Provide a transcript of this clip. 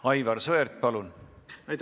Aivar Sõerd, palun!